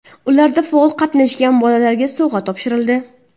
Ularda faol qatnashgan bolalarga sovg‘alar topshirildi.